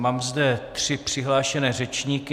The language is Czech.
Mám zde tři přihlášené řečníky.